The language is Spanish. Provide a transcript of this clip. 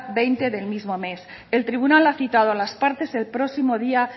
veinte del mismo mes el tribunal ha citado a las partes el próximo día